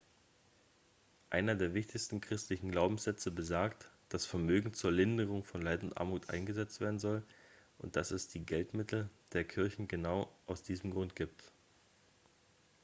einer der wichtigen christlichen glaubenssätze besagt dass vermögen zur linderung von leid und armut eingesetzt werden soll und dass es die geldmittel der kirchen genau aus diesem grund gibt